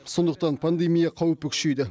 сондықтан пандемия қаупі күшейді